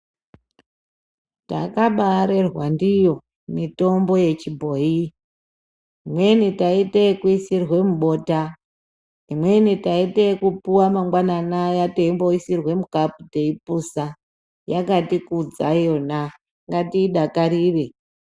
Takabarerwa ndiyo mitombo yechibhoyi , imweni taiiye ekuisirwa mubota, imweni taiiye ekupuwa mangwanani aya teimboisirwe mukapu teipuza, yakatikudza iyona ngatidakarire.